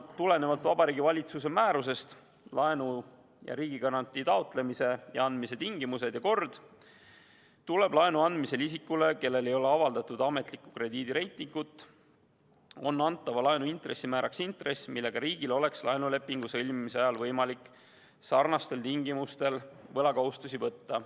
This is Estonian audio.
Tulenevalt Vabariigi Valitsuse määrusest "Laenu ja riigigarantii taotlemise ja andmise tingimused ja kord", on laenu andmisel isikule, kellel ei ole avaldatud ametlikku krediidireitingut, antava laenu intressimääraks intress, millega riigil oleks laenulepingu sõlmimise ajal võimalik sarnastel tingimustel võlakohustusi võtta.